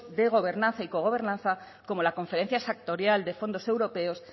de gobernanza y cogobernanza como la conferencia sectorial de fondos europeos